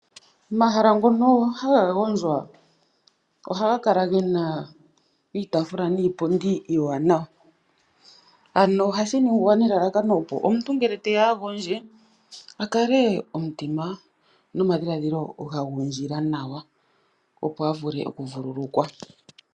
Omahala ngono haga gondjwa ohaga kala gena iitaafula niipundi iiwanawa, ano ohashi ningwa nelalakano opo omuntu ngele teya a gondje, a kale omutima nomadhiladhilo ga gundjila nawa opo a vule okuvululukwa.